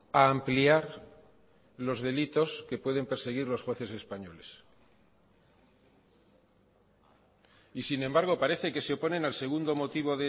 a ampliar los delitos que pueden perseguir los jueces españoles y sin embargo parece que se oponen al segundo motivo